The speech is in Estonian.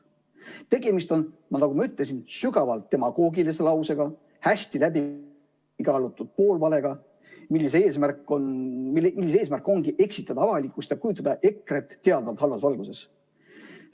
Tegemist on, nagu ma ütlesin, sügavalt demagoogilise lausega, hästi läbikaalutud poolvalega, mille eesmärk ongi eksitada avalikkust ja kujutada EKRE‑t teadvalt halvas valguses.